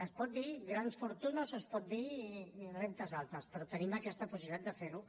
es pot dir grans fortunes o es pot dir rendes altes però tenim aquesta possibilitat de fer ho